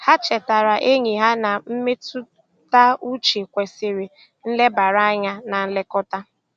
Ha chetaara enyi ha na mmetụtauche kwesịrị nlebara anya na nlekọta.